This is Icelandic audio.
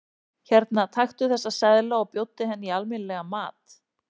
Hérna, taktu þessa seðla og bjóddu henni í almenni- legan mat.